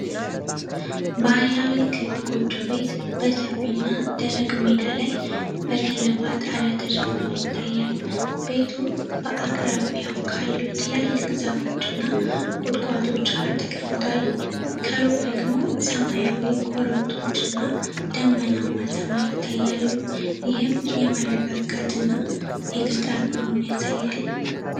ባህላዊ ክብ ጎጆ ቤት በሰፊና ደረቅ ሜዳ ላይ በገለባ ጣሪያ ተሸፍኖ ይታያል። ቤቱ በአቅራቢያው ካሉ ትላልቅ ዛፎችና ቁጥቋጦዎች ጋር ተቀምጧል። ከሩቅ ደግሞ ሰማያዊ ኮረብቶችና ደመናማ ሰማይ ይታያሉ፤ ይህም የመረጋጋትና የገጠር ኑሮን ያሳያል።